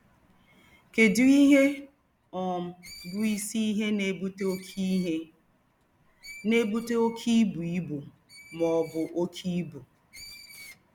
Kedụ ihe um bụ isi ihe na-ebute oke ihe na-ebute oke ibu ibu ma ọ bụ oke ibu?